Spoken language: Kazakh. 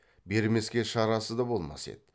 бермеске шарасы да болмас еді